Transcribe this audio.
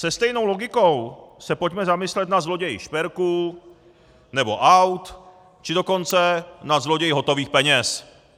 Se stejnou logikou se pojďme zamyslet nad zloději šperků nebo aut, či dokonce nad zloději hotových peněz.